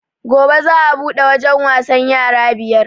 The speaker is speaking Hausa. Gobe za a buɗe wajen wasan yara biyar